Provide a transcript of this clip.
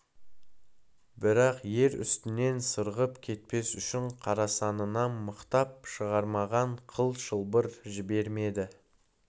бірақ ер үстінен сырғып кетпес үшін қарасанынан мықтап шырмаған қыл шылбыр жібермеді